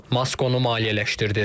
Mask onu maliyyələşdirdi.